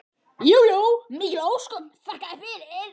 Jú jú, mikil ósköp, þakka þér fyrir.